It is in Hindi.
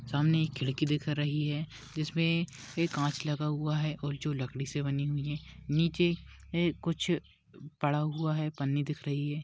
सामने एक खिड़की दिख रही है। जिसमे एक काच लगा हुआ है और जो लकड़ी से बनी हुई है। नीचे हे कुछ पड़ा हुआ है। पन्नी दिख रही है।